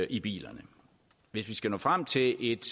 i bilerne hvis vi skal nå frem til et